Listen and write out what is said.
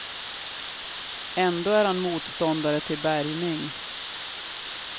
Ändå är han motståndare till bärgning.